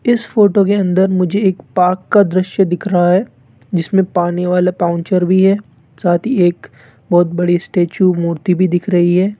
इस फोटो के अंदर मुझे एक पार्क का दृश्य दिख रहा है जिसमें पानी वाला पॉउन्चर भी है साथी एक बहुत बड़ी स्टेचू मूर्ति भी दिख रही है।